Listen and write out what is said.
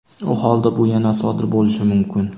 u holda "bu yana sodir bo‘lishi mumkin".